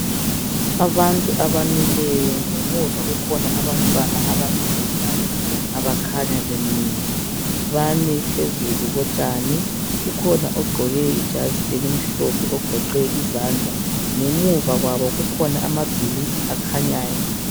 Abantu abamileyo ngemuva kukhona abantwana njalo abakhanya bemile bami phezulu kotshani kukhona ogqoke ijazi elimhlophe ogoqe izandla ngemuva kwabo kukhona amabhilidi akhanyayo.